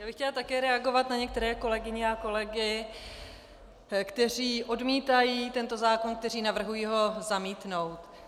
Já bych chtěla také reagovat na některé kolegyně a kolegy, kteří odmítají tento zákon, kteří navrhují ho zamítnout.